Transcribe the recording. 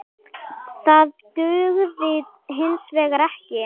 Það dugði hins vegar ekki.